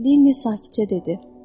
Lenni sakitcə dedi.